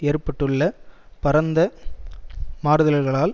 ஏற்பட்டுள்ள பரந்த மாறுதல்களால்